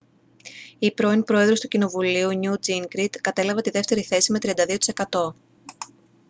ο πρώην πρόεδρος του κοινοβουλίου νιουτ τζίνγκριτ κατέλαβε τη δεύτερη θέση με 32 τοις εκατό